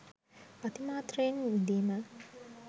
අතිමාත්‍රයෙන් විඳීම